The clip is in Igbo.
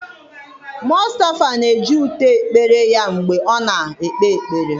Mustafa na-eji ute ekpere ya mgbe ọ na-ekpe ekpere